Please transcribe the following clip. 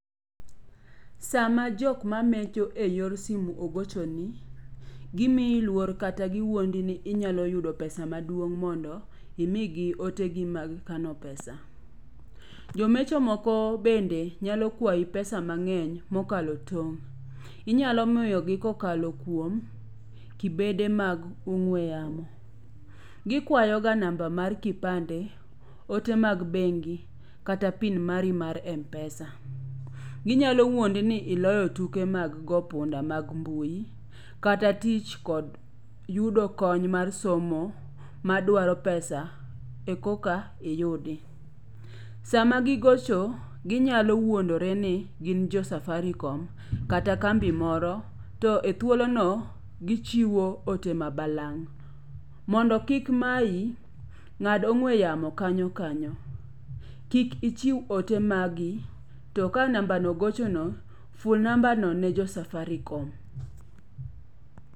Sama jok ma mecho e yor simu ogocho ni, gimiyi luor kata giwuondi ni inyalo yudo pesa maduong' mondo imigi otegi mag kano pesa. Jomecho moko bende nyalo kwayi pesa mang'eny mokalo tong'. Inyalo miyogi kokalo kuom kibede mag ong'we yamo. Gikwayo ga nama mar kipande, ote mag bengi, kata PIN mari mar MPesa. Ginyalo wuondi ni iloyo tuke mag go punda mag mbui kata tich kod yudo kony mar somo madwaro pesa e koka iyudi. Sama gigocho, ginyalo wuondore ni gin jo Safaricom kata kambi moro to ethuolo no gichiwo ote ma balang'. Mondo kik mayi, ng'ad ong'we yamo kanyo kanyo. Kik ichiw ote mag gi. To ka namba no ogocho no, full namba no ne jo Safaricom.